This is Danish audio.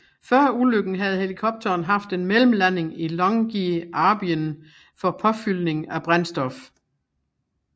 Før ulykken havde helikopteren haft en mellemlanding i Longyearbyen for påfyldning af brændstof